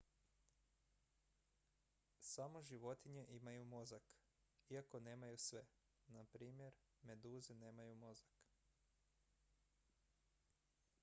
samo životinje imaju mozak iako nemaju sve; npr. meduze nemaju mozak